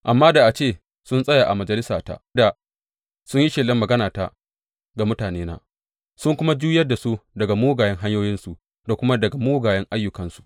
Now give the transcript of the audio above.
Amma da a ce sun tsaya a majalisata, da sun yi shelar maganata ga mutanena sun kuma juyar da su daga mugayen hanyoyinsu da kuma daga mugayen ayyukansu.